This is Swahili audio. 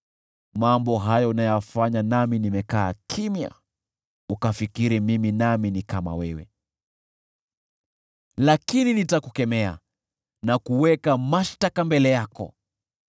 Mambo haya unayafanya, nami nimekaa kimya, ukafikiri Mimi nami ni kama wewe. Lakini nitakukemea na kuweka mashtaka mbele yako.